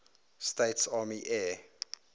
states army air